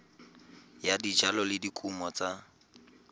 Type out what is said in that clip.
ya dijalo le dikumo tsa